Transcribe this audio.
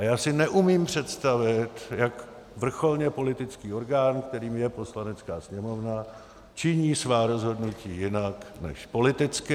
A já si neumím představit, jak vrcholně politický orgán, kterým je Poslanecká sněmovna, činí svá rozhodnutí jinak než politicky.